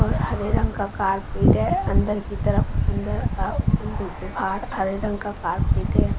और हरे रंग का कारपेट है अंदर की तरफ अंदर अ अंदर बाहर हरे रंग का कार्पेट है।